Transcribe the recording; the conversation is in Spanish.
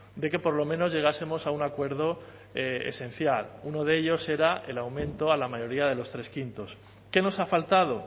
de que por lo menos llegásemos a un acuerdo esencial uno de ellos era el aumento a la mayoría de los tres quintos qué nos ha faltado